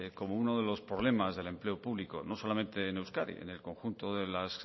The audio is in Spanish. como uno de los problemas del empleo público no solamente en euskadi en el conjunto de las